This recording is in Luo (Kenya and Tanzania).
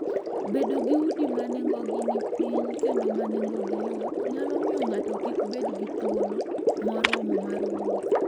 Bedo gi udi ma nengogi ni piny kendo ma nengogi yot, nyalo miyo ng'ato kik bed gi thuolo moromo mar wuotho.